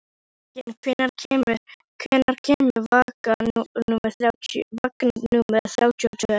Júrek, hvenær kemur vagn númer þrjátíu og tvö?